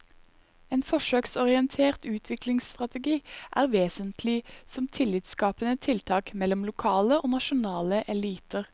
En forsøksorientert utviklingsstrategi er vesentlig som tillitsskapende tiltak mellom lokale og nasjonale eliter.